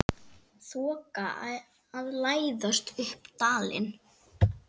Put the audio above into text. Þoka að læðast upp dalinn.